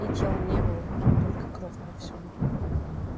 и тел не было только кровь повсюду